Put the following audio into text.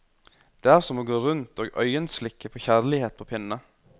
Det er som å gå rundt og øyenslikke på kjærlighet på pinne.